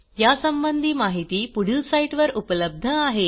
यासंबंधी माहिती पुढील साईटवर उपलब्ध आहे